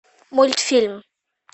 мультфильм